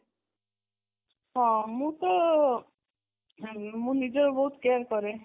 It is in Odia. ହଁ ମୁଁ ତ ମୁଁ ନିଜେ ବହୁତ care କରେ